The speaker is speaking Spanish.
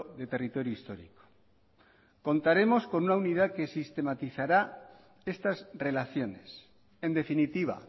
de territorio histórico contaremos con una unidad que sistematizará estas relaciones en definitiva